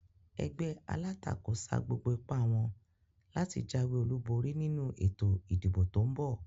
Egbé alátakò sa gbogbo ipá wón láti jáwé olúborí nínu ètò ìdìbò tón bò